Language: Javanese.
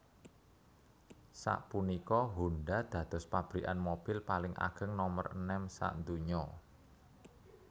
Sapunika Honda dados pabrikan mobil paling ageng nomer enem sadonya